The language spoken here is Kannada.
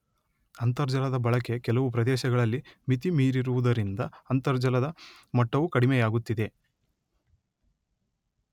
ಅಂತರ್ಜಲದ ಬಳಕೆ ಕೆಲವು ಪ್ರದೇಶಗಳಲ್ಲಿ ಮಿತಿಮೀರಿರುವುದರಿಂದ ಅಂತರ್ಜಲದ ಮಟ್ಟವೂ ಕಡಿಮೆಯಾಗುತ್ತಿದೆ.